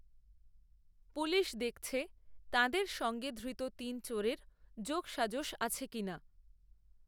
police দেখছে তাদের সঙ্গে ধৃত তিন চোরের যোগসাজশ আছে কি না